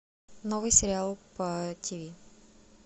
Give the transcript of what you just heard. новый сериал по тв